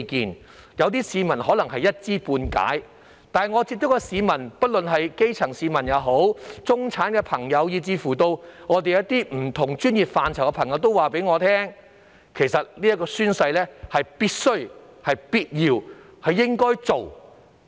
雖然有些市民可能只是一知半解，但我所接觸的市民——不論是基層市民、中產以至不同專業範疇的人士——都對我說，宣誓是必須、必要及應該做的。